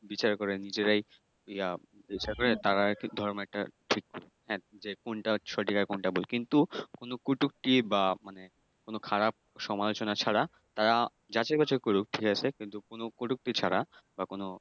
বিচার করেন নিজেরাই ইয়া তারা ধর্ম একটা কোনটা সঠিক আর কোনটা ভুল। কিন্তু কোনো কটুক্তি বা মানে কোনো খারাপ সমালোচনা ছাড়া তারা যাচাই বাছাই করুক, ঠিক আছে। কিন্তু কোনো কটুক্তি ছাড়া। কোনো